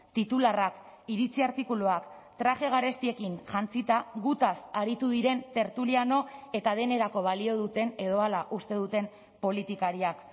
titularrak iritzi artikuluak traje garestiekin jantzita gutaz aritu diren tertuliano eta denerako balio duten edo hala uste duten politikariak